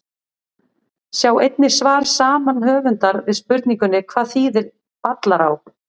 Sjá einnig svar saman höfundar við spurningunni Hvað þýðir Ballará?